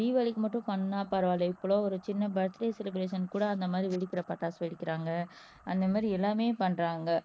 தீபாவளிக்கு மட்டும் பண்ணா பரவாயில்லை இப்பல்லாம் ஒரு சின்ன பர்த்டே செலிப்ரஷன் கூட அந்த மாதிரி வெடிக்கற பட்டாசு வெடிக்கிறாங்க அந்த மாதிரி எல்லாமே பண்றாங்க